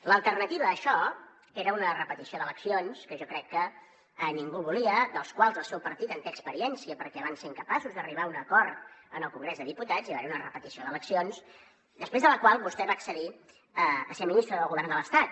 l’alternativa a això era una repetició d’eleccions que jo crec que ningú volia de la qual el seu partit té experiència perquè van ser incapaços d’arribar a un acord en el congrés dels diputats i va haver hi una repetició d’eleccions després de la qual vostè va accedir a ser ministre del govern de l’estat